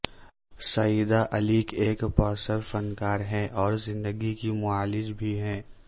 سعیدہ علی ایک بااثر فنکار ہیں اور زندگی کی معالج بھی ہیں